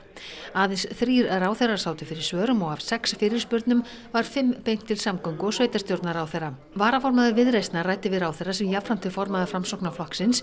aðeins þrír ráðherrar sátu fyrir svörum og af sex fyrirspurnum var fimm beint til samgöngu og sveitarstjórnarráðherra varaformaður Viðreisnar ræddi við ráðherra sem jafnframt er formaður Framsóknarflokksins